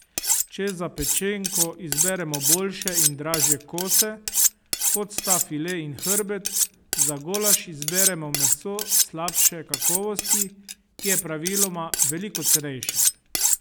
Če za pečenko izberemo boljše in dražje kose, kot sta file in hrbet, za golaž izberemo meso slabše kakovosti, ki je praviloma veliko cenejše.